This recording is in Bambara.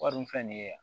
Wari dun filɛ nin ye yan